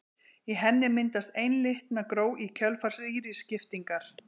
Í henni myndast einlitna gró í kjölfar rýriskiptingar.